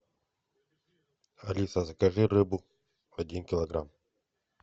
алиса закажи рыбу один килограмм